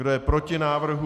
Kdo je proti návrhu?